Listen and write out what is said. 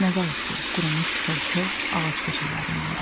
Nə qalıb ki, qurumuş kol-kos, ağac kötüklərindən başqa.